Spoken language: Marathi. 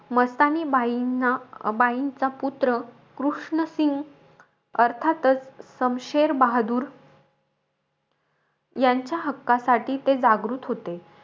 मस्तानीबाईंना बाईंचा पुत्र कृष्ण सिंग अर्थातचं, समशेर बहादूर, यांच्या हक्कासाठी ते जागृत होते.